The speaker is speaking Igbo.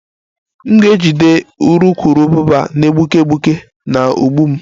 M ga-ejide urukurubụba na-egbuke egbuke na ụgbụ m